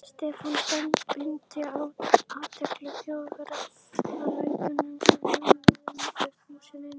Stefán beindi athygli Þjóðverjans að lækjunum sem römmuðu húsin inn.